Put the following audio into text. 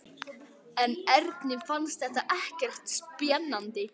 En Erni fannst þetta ekkert spennandi.